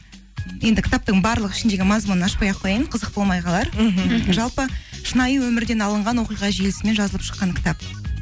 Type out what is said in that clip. енді кітаптың барлығы ішіндегі мазмұнын ашпай ақ қояйын қызық болмай қалар жалпы шынайы өмірден алынған оқиға желісімен жазылып шыққан кітап